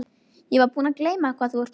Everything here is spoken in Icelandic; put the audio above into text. Ég var búin að gleyma hvað þú ert stór.